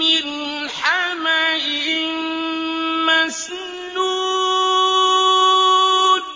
مِّنْ حَمَإٍ مَّسْنُونٍ